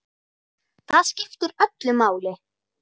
Það skiptir öllu máli.